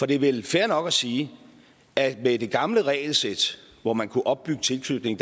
det er vel fair nok at sige at med det gamle regelsæt hvor man kunne opbygge tilknytning